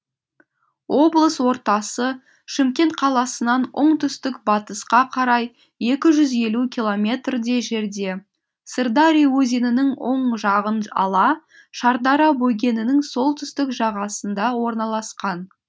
облыс ортасы шымкент қаласынан оңтүстік батысқа қарай екі жүз елу километрдей жерде сырдария өзенінің оң жағын ала шардара бөгенінің солтүстік жағасында орналасқан